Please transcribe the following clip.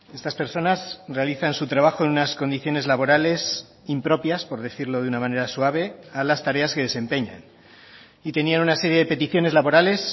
estas personas realizan su trabajo en unas condiciones laborales impropias por decirlo de una manera suave a las tareas que desempeñan y tenían una serie de peticiones laborales